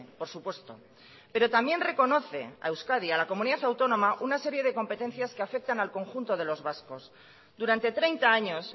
por supuesto pero también reconoce a euskadi a la comunidad autónoma una serie de competencias que afectan al conjunto de los vascos durante treinta años